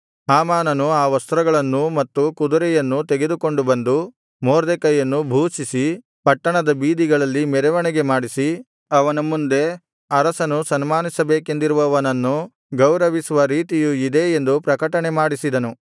ಹಾಮಾನನು ಆ ವಸ್ತ್ರಗಳನ್ನೂ ಮತ್ತು ಕುದುರೆಯನ್ನೂ ತೆಗೆದುಕೊಂಡು ಬಂದು ಮೊರ್ದೆಕೈಯನ್ನು ಭೂಷಿಸಿ ಪಟ್ಟಣದ ಬೀದಿಗಳಲ್ಲಿ ಮೆರವಣಿಗೆ ಮಾಡಿಸಿ ಅವನ ಮುಂದೆ ಅರಸನು ಸನ್ಮಾನಿಸಬೇಕೆಂದಿರುವವನನ್ನು ಗೌರವಿಸುವ ರೀತಿಯು ಇದೇ ಎಂದು ಪ್ರಕಟಣೆಮಾಡಿಸಿದನು